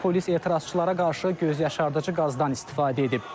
Polis etirazçılara qarşı gözyaşardıcı qazdan istifadə edib.